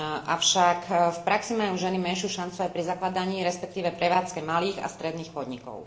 Avšak v praxi majú ženy menšiu šancu aj pri zakladaní, respektíve prevádzke malých a stredných podnikov.